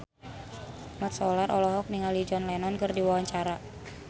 Mat Solar olohok ningali John Lennon keur diwawancara